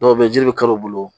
Dɔw bɛ yen jiri bɛ kari u bolo